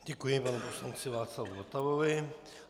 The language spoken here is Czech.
Děkuji panu poslanci Václavu Votavovi.